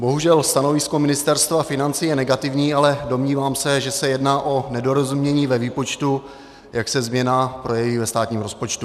Bohužel stanovisko Ministerstva financí je negativní, ale domnívám se, že se jedná o nedorozumění ve výpočtu, jak se změna projeví ve státním rozpočtu.